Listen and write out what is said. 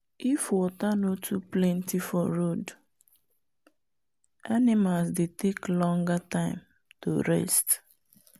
if water nor too plenty for road animals dey take longer time to rest.